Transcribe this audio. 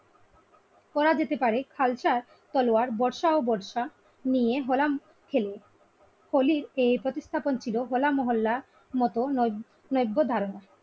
করা যেতে পারে খালসা তলোয়ার বর্ষা ও বর্ষা নিয়ে হলাম খেলে। হোলির এই প্রতিস্থাপন ছিল হোল মহল্লার নব নৈব্য ধারনা।